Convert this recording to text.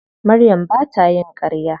Maryam ba ta yin ƙarya.